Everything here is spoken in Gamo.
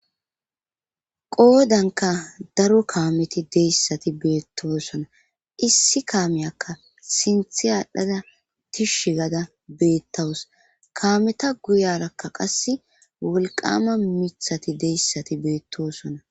Qoodankka daro kaameti deyssati beettosona issi kaameyakka sinthi aadhdhada tishshi gada beettawus kaameta guyarakka qasse wolqama mithati deyssati beettoosona.